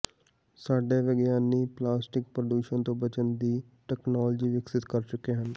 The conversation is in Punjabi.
ਸਾਡੇ ਵਿਗਿਆਨੀ ਪਲਾਸਟਿਕ ਪ੍ਰਦੂਸ਼ਣ ਤੋਂ ਬਚਣ ਦੀ ਤਕਨਾਲੋਜੀ ਵਿਕਸਿਤ ਕਰ ਚੁੱਕੇ ਹਨ